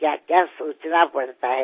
क्याक्या सोचना पड़ता है